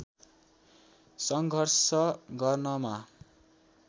सङ्घर्ष गर्नमा